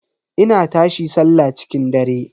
Ina tashi sallah cikin dare.